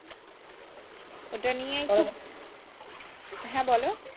ওটা নিয়ে খুব হ্যাঁ বলো